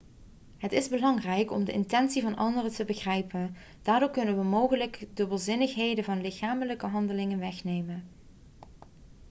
het is belangrijk om de intentie van anderen te begrijpen daardoor kunnen we mogelijke dubbelzinnigheden van lichamelijke handelingen wegnemen